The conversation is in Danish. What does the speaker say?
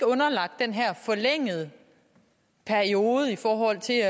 underlagt den her forlængede periode i forhold til